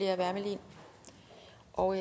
og